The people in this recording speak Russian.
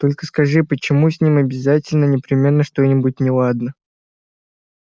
только скажи почему с ним обязательно непременно что-нибудь неладно